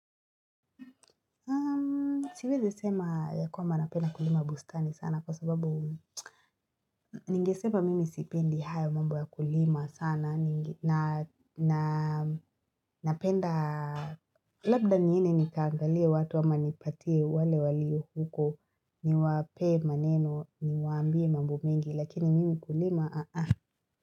Siwezi sema ya kwamba napenda kulima bustani sana kwa sababu Ningesema mimi sipendi hayo mambo ya kulima sana na napenda Labda niende nikaangalie watu ama nipatie wale walio huko ni wapee maneno niwaambie mambo mingi lakini mimi kulima aa.